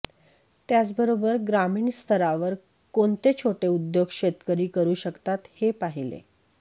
त्याचबरोबर ग्रामीण स्तरावर कोणते छोटे उद्योग शेतकरी करू शकतात हे पाहिले